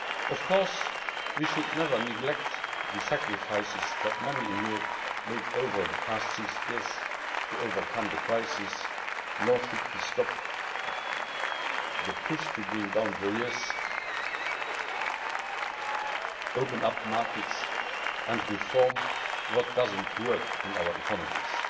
Of course, we should never neglect the sacrifices that many in Europe have made over the past six years to overcome the crisis, nor should we stop the push to bring down barriers, open up markets and reform what does not work in our economies.